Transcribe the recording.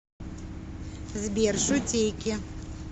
сбер шутейки